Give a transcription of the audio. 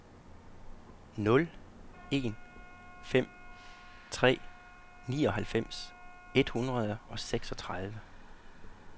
nul en fem tre nioghalvfems et hundrede og seksogtredive